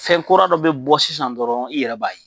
Fɛn kura dɔ bi bɔ sisan dɔrɔn, i yɛrɛ b'a ye.